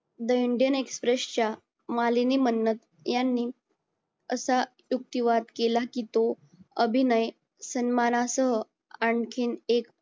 the Indian express च्या मालिनी मन्नत यांनी असा दुभाटीवात केला कि तो अभिनय सन्मानासह आणखीन एक